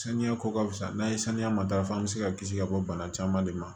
Saniya ko ka fisa n'a ye saniya matarafa an bɛ se ka kisi ka bɔ bana caman de ma